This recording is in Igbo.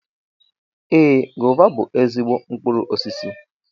Ee, gova bú ezigbo mkpụrụ osisi